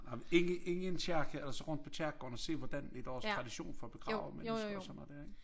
Ej men inde inde i en kirke og så rundt på kirkegården og så se hvordan er deres tradition for at begrave mennesker og sådan noget dér ikke